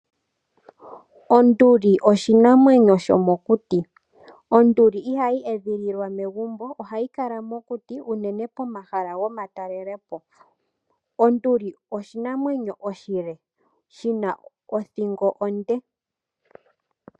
Onduli oshinamwenyo shomokuti. Onduli ihayi edhililwa megumbo ohayi kala mokuti uunene pomahala gomatalelepo. Onduli oshinamwenyo oshile shina othingo onde.